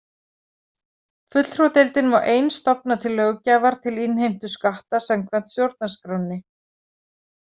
Fulltrúadeildin má ein stofna til löggjafar til innheimtu skatta samkvæmt stjórnarskránni.